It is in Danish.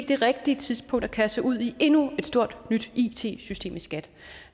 det rigtige tidspunkt at kaste sig ud i endnu et stort nyt it system i skat